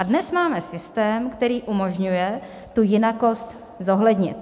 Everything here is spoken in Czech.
A dnes máme systém, který umožňuje tu jinakost zohlednit.